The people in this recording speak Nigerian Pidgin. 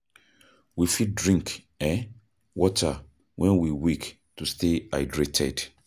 We fit drink um water when we wake to stay hydrated